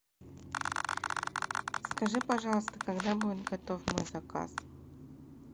скажи пожалуйста когда будет готов мой заказ